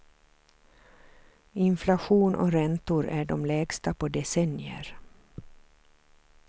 Inflation och räntor är de lägsta på decennier.